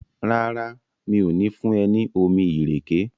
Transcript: ràrá mi'o ni fún e ní omí ìrèké?